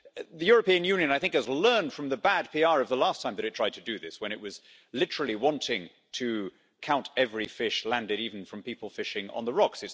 The European Union, I think, has learned from the bad PR of the last time that it tried to do this, when it was literally wanting to count every fish landed, even from people fishing on the rocks.